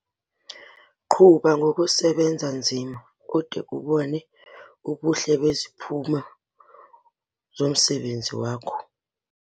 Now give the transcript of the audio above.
Qhuba ngokusebenza nzima ude ubone ubuhle beziphumo zomsebenzi wakho!